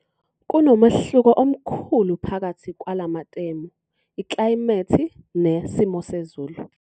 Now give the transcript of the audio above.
Kunomehluko omkhulu phakathi kwala matemu 'iklayimethi' ne 'simo sezulu'.